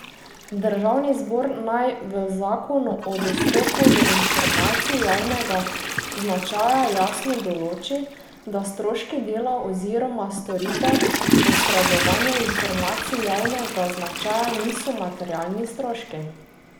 Državni zbor naj v zakonu o dostopu do informacij javnega značaja jasno določi, da stroški dela oziroma storitve posredovanja informacij javnega značaja niso materialni stroški.